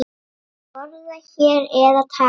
Borða hér eða taka með?